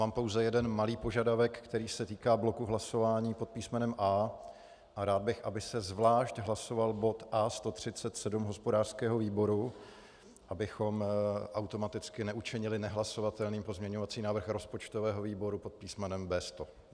Mám pouze jeden malý požadavek, který se týká bloku hlasování pod písmenem A. Rád bych, aby se zvlášť hlasoval bod A137 hospodářského výboru, abychom automaticky neučinili nehlasovatelným pozměňovací návrh rozpočtového výboru pod písmenem B100.